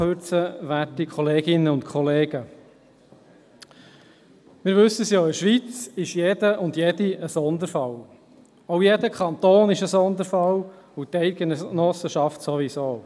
In der Schweiz ist jede und jeder ein Sonderfall, auch jeder Kanton ist ein Sonderfall, die Eidgenossenschaft sowieso.